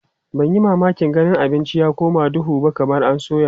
Ban yi mamakin ganin abincin ya koma duhu ba kamar an soya.